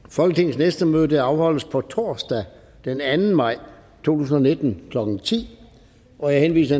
folketingets næste møde afholdes på torsdag den anden maj to tusind og nitten klokken ti jeg henviser